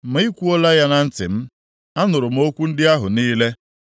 “Ma ị kwuola ya na ntị m, anụrụ m okwu ndị ahụ niile,